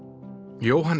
Jóhann